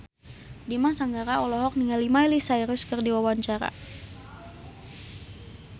Dimas Anggara olohok ningali Miley Cyrus keur diwawancara